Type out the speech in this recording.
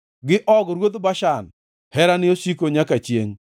gi Og ruodh Bashan, Herane osiko nyaka chiengʼ.